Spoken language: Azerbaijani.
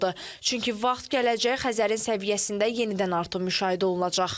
Çünki vaxt gələcək Xəzərin səviyyəsində yenidən artım müşahidə olunacaq.